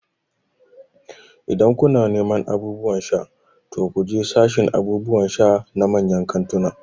Idan kuna neman abubuwan sha, to ku je sashin abubuwan sha na manyan kantunan